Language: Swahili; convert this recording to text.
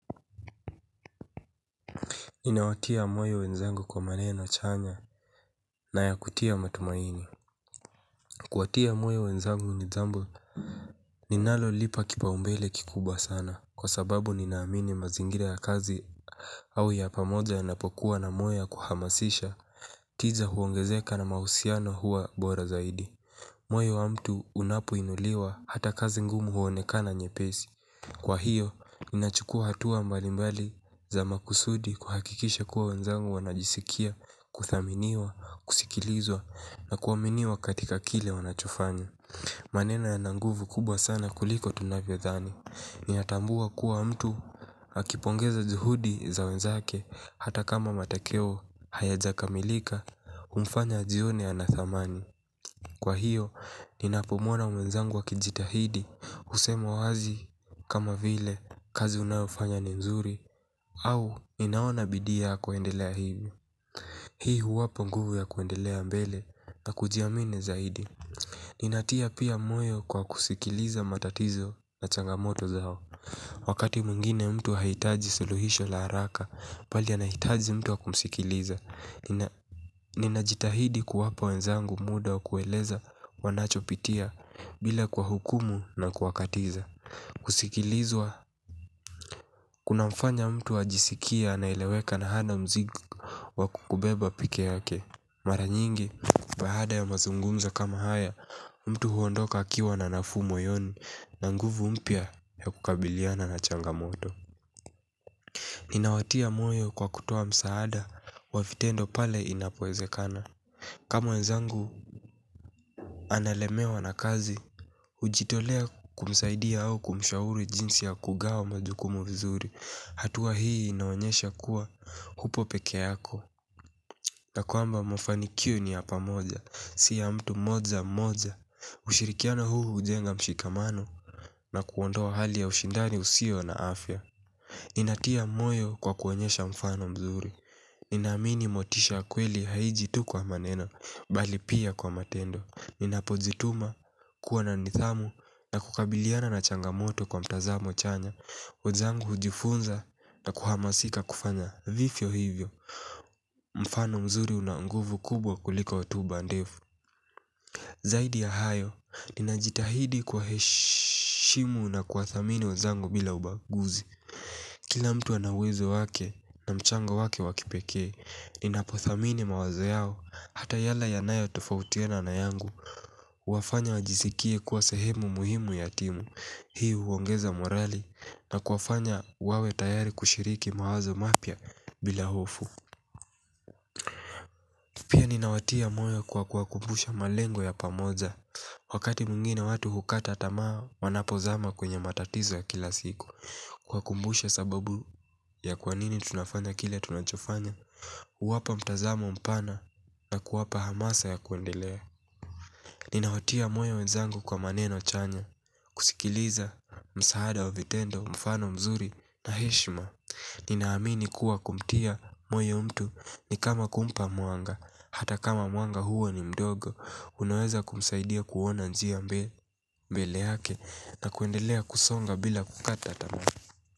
Ninawatia moyo wenzangu kwa maneno chanya na ya kutia matumaini. Kuwatia moyo wenzangu ni jambo ninalolipa kipaumbele kikubwa sana. Kwa sababu ninaamini mazingira ya kazi au ya pamoja yanapokuwa na moyo ya kuhamasisha. Tija huongezeka na mahusiano huwa bora zaidi moyo wa mtu unapoinuliwa ata kazi ngumu huonekana nyepesi kwa io ninachukua hatua mbalimbali za makusudi kuhakikisha kuwa wenzangu wanajisikia kuthaminiwa kusikilizwa na kuaminiwa katika kile wanachofanya. Maneno yana nguvu kubwa sana kuliko tunavyodhani. Ninatambua kuwa mtu akipongeza juhudi za wenzake hata kama matakeo hayajakamilika humfanya ajione ana thamani. Kwa hiyo, ninapomuona menzangu akijitahidi, husema wazi kama vile kazi unayofanya ni nzuri, au ninaona bidii yako endelea hivyo. Hii huwapa nguvu ya kuendelea mbele na kujiamini zaidi. Ninatia pia moyo kwa kusikiliza matatizo na changamoto zao. Wakati mwingine mtu hahitaji suluhisho la haraka, bali anahitaji mtu wa kumsikiliza. Ninajitahidi kuwapa wenzangu muda wa kueleza wanachopitia bila kuwahukumu na kuwakatiza. Kusikilizwa kunamfanya mtu ajisikie anaeleweka na hana mzigo wa kukubeba peke yake. Mara nyingi, baada ya mazungumza kama haya, mtu huondoka akiwa na nafuu moyoni na nguvu mpya ya kukabiliana na changamoto. Ninawatia moyo kwa kutoa msaada wa vitendo pale inapoezekana. Ka mwenzangu analemewa na kazi, hujitolea kumsaidia au kumshauri jinsi ya kugawa majukumu vizuri. Hatua hii inaonyesha kuwa hupo peke yako. Na kwamba mafanikio ni ya pamoja, si ya mtu mmoja mmoja. Ushirikiano huu hujenga mshikamano na kuondoa hali ya ushindani usio na afya. Ninatia moyo kwa kuonyesha mfano mzuri. Ninaamini motisha wa kweli haiiji tu kwa maneno bali pia kwa matendo. Ninapojituma kuwa na nidhamu na kukabiliana na changamoto kwa mtazamo chanya. Wejangu hujifunza na kuhamasika kufanya vifyo hivyo. Mfano mzuri una nguvu kubwa kuliko hotuba ndefu. Zaidi ya hayo. Ninajitahidi kuwaheshimu na kuwathamini wezangu bila ubaguzi. Kila mtu ana uwezo wake na mchango wake wa kipekee, ninapothamini mawazo yao hata yale yanayo tofautiana na yangu, huwafanya wajisikie kuwa sehemu muhimu ya timu. Hii huongeza morali na kuwafanya wawe tayari kushiriki mawazo mapya bila hofu. Ninawatia moyo kwa kuwakumbusha malengo ya pamoja. Wakati mwingine watu hukata tamaa wanapozama kwenye matatizo ya kila siku. Kuwakumbusha sababu ya kwanini tunafanya kile tunachofanya huwapa mtazamo mpana na kuwapa hamasa ya kuendelea. Ninawatia moyo wenzangu kwa maneno chanya. Kusikiliza msaada wa vitendo, mfano mzuri na heshma. Ninaamini kuwa kumtia moyo mtu ni kama kumpa mwanga. Hata kama mwanga huo ni mdogo. Unaweza kumsaidia kuona njia mbele yake na kuendelea kusonga bila kukata tamaa.